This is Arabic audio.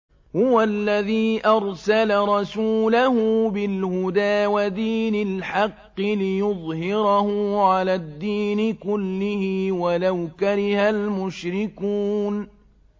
هُوَ الَّذِي أَرْسَلَ رَسُولَهُ بِالْهُدَىٰ وَدِينِ الْحَقِّ لِيُظْهِرَهُ عَلَى الدِّينِ كُلِّهِ وَلَوْ كَرِهَ الْمُشْرِكُونَ